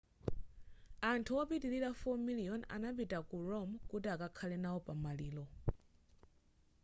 anthu opitilira 4 miliyoni adapita ku rome kuti akakhale nawo pamaliro